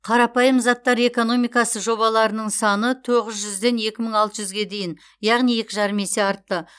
қарапайым заттар экономикасы жобаларының саны тоғыз жүзден екі мың алты жүзге дейін яғни екі жарым есе артты